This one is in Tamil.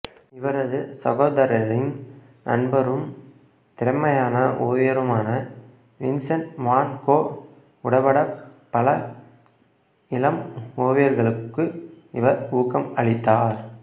இவரது சகோதரரின் நண்பரும் திறமையான ஓவியருமான வின்சென்ட் வான் கோ உடபடப் பல இளம் ஓவியர்களுக்கு இவர் ஊக்கம் அளித்தார்